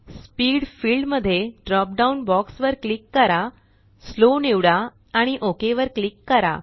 speed field मध्ये drop down box वर click करा स्लो निवडा आणि ओक वर क्लिक करा